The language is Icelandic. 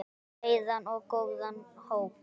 Breiðan og góðan hóp.